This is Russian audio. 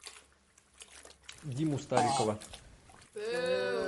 диму старикова